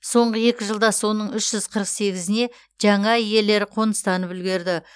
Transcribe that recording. соңғы екі жылда соның үш жүз қырық сегізіне жаңа иелері қоныстанып үлгерді